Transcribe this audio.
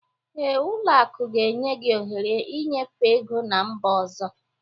Ee, ụlọ akụ ga-enye gị ohere ịnyefe ego ná mba ọzọ